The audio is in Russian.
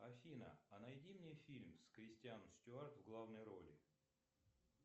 афина а найди мне фильм с кристиан стюарт в главной роли